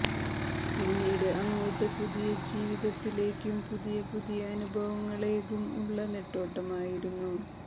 പിന്നീട് അങ്ങോട്ട് പുതിയ ജീവിതത്തിലേക്കും പുതിയ പുതിയ അനുഭവങ്ങളേകും ഉള്ള നെട്ടോട്ടമായിരുന്നു